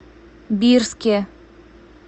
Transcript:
бирске